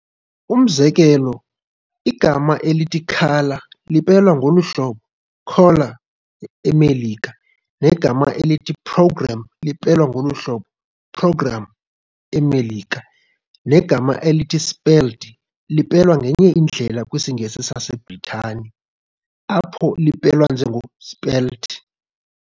Umzekelo igama elithi "colour" lipelwa ngolu hlobo "color" eMelika, negama elithi "programme" lipelwa ngolu hlobo "program" eMelika. Negama elithi "spelled" lipelwa ngenye indlela kwisiNgesi saseBritane, apho lipelwa njengo "spelt".